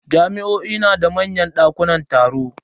Jami'o'i na da manyan dakunan taro.